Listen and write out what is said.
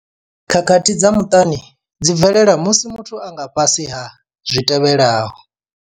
Khakhathi dza muṱani dzi bvelela musi muthu a nga fhasi ha zwitevhelaho.